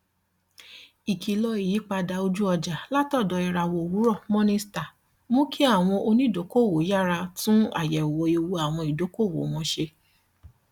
ikìlọ ìyípadà ojúọjà látọdọ ìràwọ owurọ morningstar mú kí àwọn onídokòòwò yára tún àyẹwò ewu àwọn ìdókòòwò wọn ṣe